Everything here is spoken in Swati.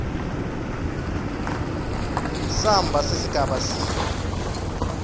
samba sesigaba c